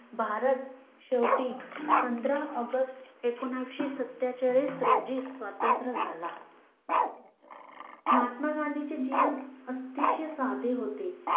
भारत शेवटी पंधरा ऑगस्ट एकोणविसशे सतेचाळीस रोजी स्वातंत्र्य झाला महात्मा गांधीचे जीवन अतिशय साधे होते